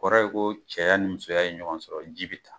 O Kɔrɔ ye ko cɛya ni musoya ye ɲɔgɔn sɔrɔ ji bɛ taa.